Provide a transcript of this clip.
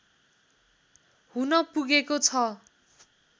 हुन पुगेको छ